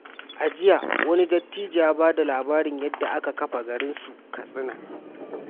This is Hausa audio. A jiya, wani dattijo ya ba da labarin yadda aka kafa garin su Katsina.